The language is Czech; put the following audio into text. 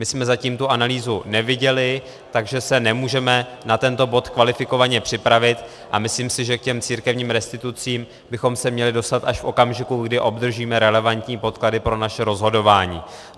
My jsme zatím tu analýzu neviděli, takže se nemůžeme na tento bod kvalifikovaně připravit, a myslím si, že k těm církevním restitucím bychom se měli dostat až v okamžiku, kdy obdržíme relevantní podklady pro naše rozhodování.